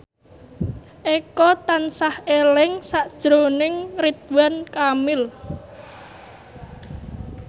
Eko tansah eling sakjroning Ridwan Kamil